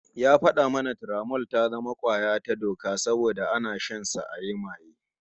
Ya fada mana Turamol ya zama kwaya ta doka saboda ana shansa ayi maye